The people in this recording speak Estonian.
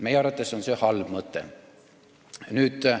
Meie arvates on see halb mõte.